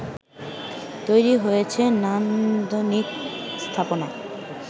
তৈরি হয়েছে নান্দনিক স্থাপনা